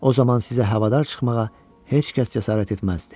O zaman sizə havadar çıxmağa heç kəs cəsarət etməzdi.